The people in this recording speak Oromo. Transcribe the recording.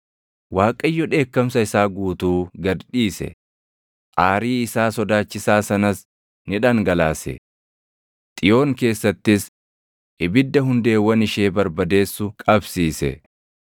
Waaqayyo dheekkamsa isaa guutuu gad dhiise; aarii isaa sodaachisaa sanas ni dhangalaase. Xiyoon keessattis ibidda hundeewwan ishee barbadeessu qabsiise.